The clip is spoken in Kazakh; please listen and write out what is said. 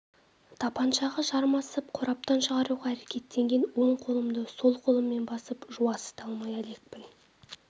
тапаншаға жармасып қораптан шығаруға әрекеттенген оң қолымды сол қолыммен басып жуасыта алмай әлекпін